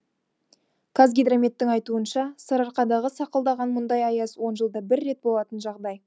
қазгидрометтің айтуынша сарыарқадағы сақылдаған мұндай аяз он жылда бір рет болатын жағдай